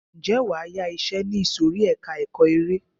Ǹjẹ́ wàá yá iṣẹ ní ìsòrí ẹka ẹ̀kọ́ eré.